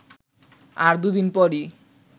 আর দুদিন পরই